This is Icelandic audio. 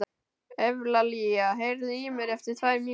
Evlalía, heyrðu í mér eftir tvær mínútur.